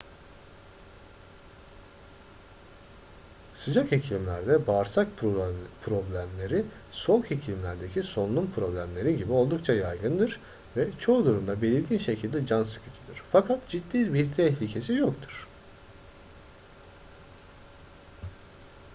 sıcak iklimlerde bağırsak problemleri soğuk iklimlerdeki solunum problemleri gibi oldukça yaygındır ve çoğu durumda belirgin şekilde can sıkıcıdır fakat ciddi bir tehlikesi yoktur